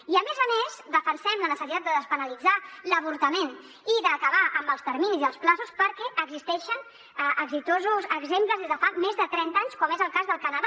i a més a més defensem la necessitat de despenalitzar l’avortament i d’acabar amb els terminis perquè existeixen exemples d’èxit des de fa més de trenta anys com és el cas del canadà